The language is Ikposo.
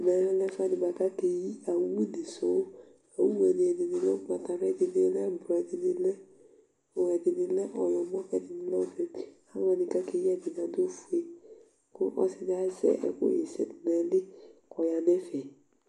Ɛmɛlɛ ɛfʋɛdi bʋakʋ akeyi owu di su Owu ye ni ɛdiní lɛ ugbatawla, ɛdiní lɛ ɛblɔ, ɛdiní lɛ ɔwlɔmɔ kʋ ɛdíni lɛ ɔfʋe Aluwa kʋ akeyi ye ɛdiní adu ɔfʋe Ɔsi di azɛ ɛku ɣɛsɛ dʋ nʋ ayìlí kʋ ɔya nʋ ɛfɛ